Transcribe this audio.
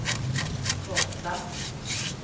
korta